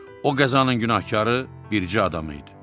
O qəzanın günahkarı bircə adam idi.